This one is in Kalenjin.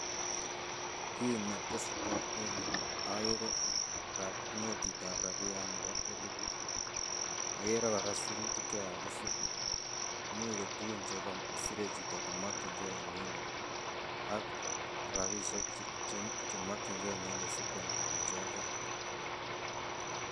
Kii netesetai en yu ogere notit ab rabiyat nebo eliput, ogere koraa sirutik che kakisir imuche ko tugug che kosire chito komokyigee inendet ak rabishek che mokygee inendet asikwal tuguchotet